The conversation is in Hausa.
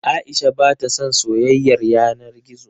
Aisha ba ta son soyayar yana gizo.